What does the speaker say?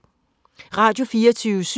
Radio24syv